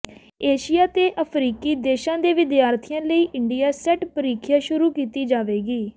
Asia ਤੇ ਅਫਰੀਕੀ ਦੇਸ਼ਾਂ ਦੇ ਵਿਦਿਆਰਥੀਆਂ ਲਈ ਇੰਡੀਆ ਸੈੱਟ ਪਰੀਖਿਆ ਸ਼ੁਰੂ ਕੀਤੀ ਜਾਵੇਗੀ